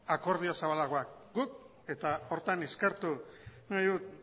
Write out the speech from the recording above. akordio zabalagoak eta horretan eskertu nahi dut